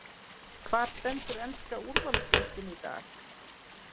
Hvar stendur enska úrvalsdeildin í dag?